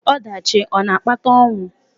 Ọdachi ọ̀ na-akpata ọnwụ?